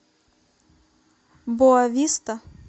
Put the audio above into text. боа виста